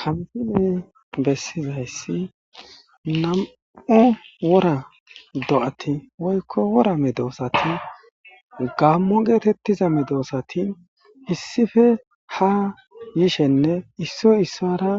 Ha misiley bessizayssi nam7e wora do7ati woykko wora medoosati gammo geetettiza medoosati issife ha yishenne issoy issara